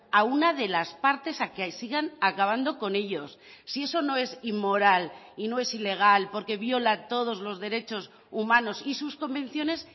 a una de las partes a que sigan acabando con ellos si eso no es inmoral y no es ilegal porque viola todos los derechos humanos y sus convenciones